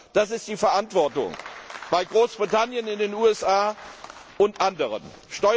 Das ist die Verantwortung, in Großbritannien, in den USA und in anderen Staaten.